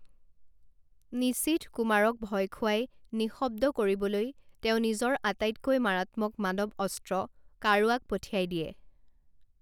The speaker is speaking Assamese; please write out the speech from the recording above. নিশীথ কুমাৰক ভয় খুৱাই নিঃশব্দ কৰিবলৈ তেওঁ নিজৰ আটাইতকৈ মাৰাত্মক মানৱ অস্ত্ৰ কাৰুৱাক পঠিয়াই দিয়ে।